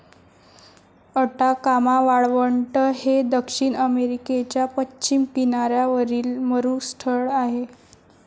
Atacama वाळवंट हे दक्षिण अमेरिकेच्या पश्चिम किनाऱ्यावरील मरुस्थळ आहे.